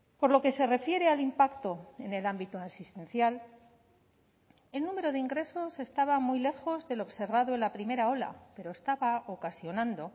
por lo que se refiere al impacto en el ámbito asistencial el número de ingresos estaba muy lejos del observado en la primera ola pero estaba ocasionando